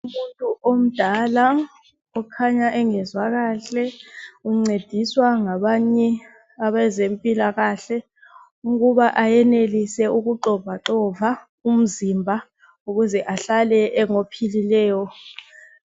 Umuntu omdala ukhanya engezwa kahle ,uncediswa ngabanye abezempilakahle .Ukuba ayenelise ukuxovaxova umzimba ukuze ahlale engophilileyo.